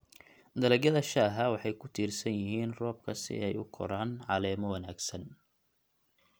Dalagyada shaaha waxay ku tiirsan yihiin roobka si ay u koraan caleemo wanaagsan.